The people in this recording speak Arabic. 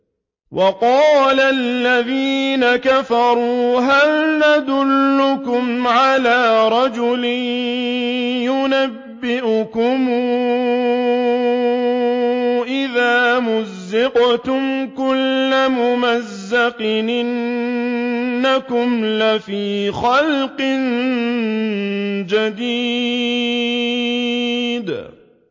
وَقَالَ الَّذِينَ كَفَرُوا هَلْ نَدُلُّكُمْ عَلَىٰ رَجُلٍ يُنَبِّئُكُمْ إِذَا مُزِّقْتُمْ كُلَّ مُمَزَّقٍ إِنَّكُمْ لَفِي خَلْقٍ جَدِيدٍ